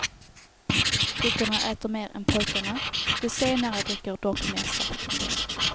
Flickorna äter mer än pojkarna, de senare dricker dock mer saft och läsk.